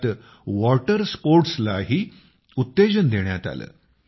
त्यात वॉटर स्पोर्ट्सलाही उत्तेजन देण्यात आलं